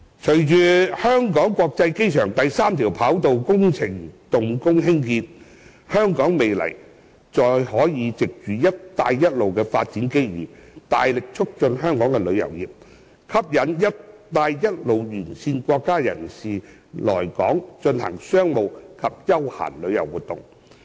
隨着香港國際機場第三條跑道工程動工興建，香港未來可藉"一帶一路"的發展機遇，大力促進香港的旅遊業，吸引"一帶一路"沿線國家人士來港進行商務及休閒旅遊活動。